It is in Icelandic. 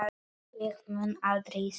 Ég mun aldrei segja já.